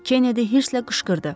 Kennedy hirslə qışqırdı.